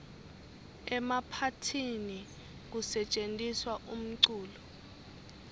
emaphathini kusetjentiswa umculo